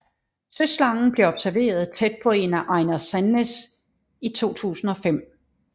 Søslangen blev observeret tæt på af Einar Sandnes i 2005